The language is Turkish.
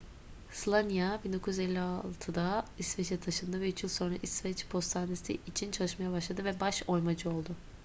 słania 1956'da i̇sveç'e taşındı ve üç yıl sonra i̇sveç postanesi için çalışmaya başladı ve baş oymacı oldu